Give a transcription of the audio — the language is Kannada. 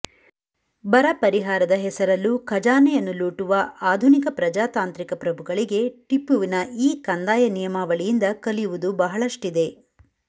ಬರ ಪರಿಹಾರದ ಹೆಸರಲ್ಲೂ ಖಜಾನೆಯನ್ನು ಲೂಟುವ ಆಧುನಿಕ ಪ್ರಜಾತಾಂತ್ರಿಕ ಪ್ರಭುಗಳಿಗೆ ಟಿಪ್ಪುವಿನ ಈ ಕಂದಾಯ ನಿಯಮಾವಳಿಯಿಂದ ಕಲಿಯುವುದು ಬಹಳಷ್ಟಿದೆ